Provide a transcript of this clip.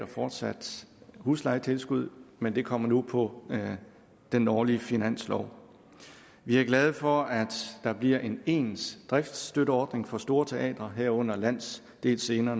fortsat får huslejetilskud men det kommer nu på den årlige finanslov vi er glade for at der bliver en ens driftsstøtteordning for store teatre herunder landsdelsscener